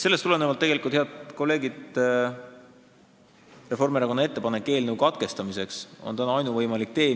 Sellest tulenevalt, head kolleegid, on Reformierakonna ettepanek eelnõu teine lugemine täna katkestada ainuvõimalik lahendus.